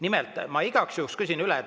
Nimelt, ma igaks juhuks küsin üle.